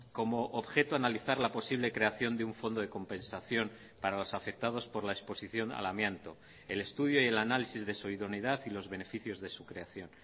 como objeto analizar la posible creación de un fondo de compensación para los afectados por la exposición al amianto el estudio y el análisis de su idoneidad y los beneficios de su creación